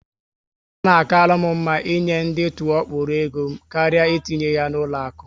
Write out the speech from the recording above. Ọ na akalu m mma ị nye ndị tụọ kpọrọ égo m karịa etinye ya na ụlọ akụ